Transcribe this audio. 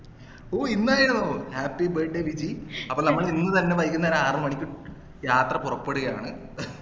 ഓഹ് ഇന്നായിരുന്നോ happy birthday Viji അപ്പൊ നമ്മൾ ഇന്ന് തന്നെ വൈകുന്നേരം ആറുമണിക്ക് യാത്ര പുറപ്പെടുകയാണ്